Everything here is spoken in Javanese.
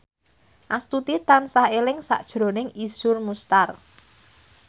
Astuti tansah eling sakjroning Iszur Muchtar